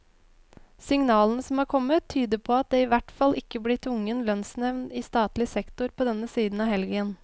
Signalene som er kommet, tyder på at det i hvert fall ikke blir tvungen lønnsnevnd i statlig sektor på denne siden av helgen.